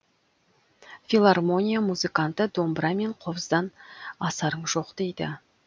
филармония музыканты домбыра мен қобыздан асарың жоқ дейді